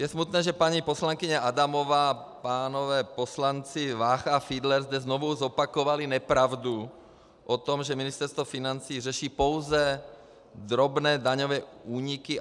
Je smutné, že paní poslankyně Adamová, pánové poslanci Vácha a Fiedler zde znovu zopakovali nepravdu o tom, že Ministerstvo financí řeší pouze drobné daňové úniky.